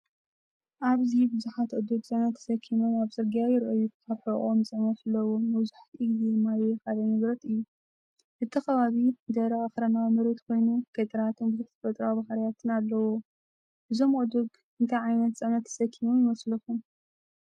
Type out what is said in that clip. ኣብዚ ብዙሓት ኣእዱግ ጽዕነት ተሰኪሞም ኣብ ጽርግያ ይረኣዩ። ኣብ ሕቖኦም ጽዕነት ኣለዎም — መብዛሕትኡ ግዜ ማይ ወይ ካልእ ንብረት እዩ። እቲ ከባቢ ደረቕ ኣኽራናዊ መሬት ኮይኑ፡ ገጠራትን ብዙሕ ተፈጥሮኣዊ ባህርያትን ኣለዎ። እዞም ኣእዱግ እንታይ ዓይነት ጽዕነት ተሰኪሞም ይመስለኩም?